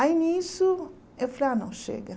Aí, nisso, eu falei, ah, não, chega.